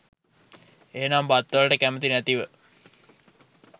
එහෙමනම් බත්වලට කැමති නැතිව